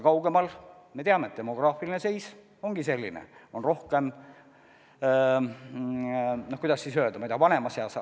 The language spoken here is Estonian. Kaugemal Eestis, nagu me teame, demograafiline seis ongi selline, et rohkem on vanemas eas elanikke.